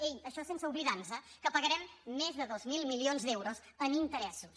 ei això sense oblidar nos que pagarem més de dos mil milions d’euros en interessos